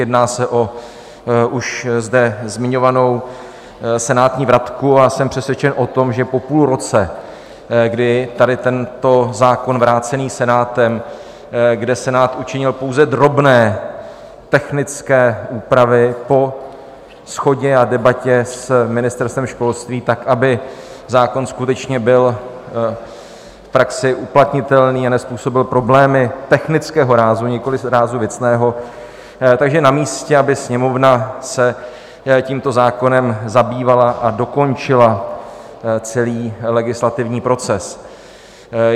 Jedná se o už zde zmiňovanou senátní vratku a jsem přesvědčen o tom, že po půl roce, kdy tady tento zákon vrácený Senátem, kde Senát učinil pouze drobné, technické úpravy, po shodě a debatě s Ministerstvem školství, tak aby zákon skutečně byl v praxi uplatnitelný a nezpůsobil problémy technického rázu, nikoliv rázu věcného, takže je namístě, aby Sněmovna se tímto zákonem zabývala a dokončila celý legislativní proces.